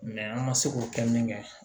an ma se k'o kɛ min kɛ